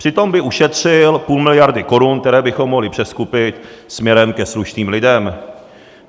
Přitom by ušetřil půl miliardy korun, které bychom mohli přeskupit směrem ke slušným lidem.